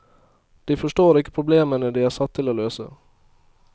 De forstår ikke problemene de er satt til å løse.